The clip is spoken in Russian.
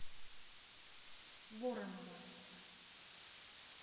воронова